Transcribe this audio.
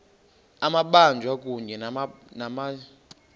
amabanjwa kunye nabatyholwa